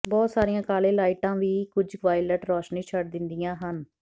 ਬਹੁਤ ਸਾਰੀਆਂ ਕਾਲੇ ਲਾਈਟਾਂ ਵੀ ਕੁਝ ਵਾਇਲਟ ਰੌਸ਼ਨੀ ਛੱਡ ਦਿੰਦੀਆਂ ਹਨ